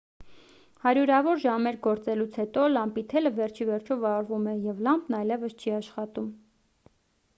հարյուրավոր ժամեր գործելուց հետո լամպի թելը վերջիվերջո վառվում է և լամպն այևս չի աշխատում